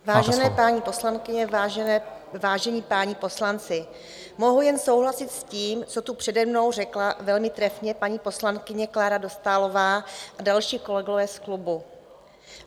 Vážené paní poslankyně, vážení páni poslanci, mohu jen souhlasit s tím, co tu přede mnou řekla velmi trefně paní poslankyně Klára Dostálová a další kolegové z klubu.